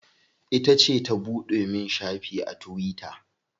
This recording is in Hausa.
Ita ce ta buɗe min shafi a tuwita.